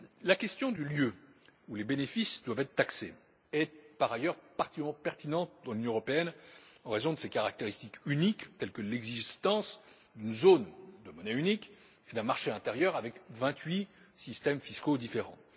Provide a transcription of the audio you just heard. La question du lieu où les bénéfices doivent être taxés est, par ailleurs, particulièrement pertinente dans l'Union européenne, en raison de ses caractéristiques uniques telles que l'existence d'une zone dotée d'une monnaie unique et d'un marché intérieur comptant vingt huit systèmes fiscaux différents.